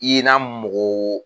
INA mɔgɔ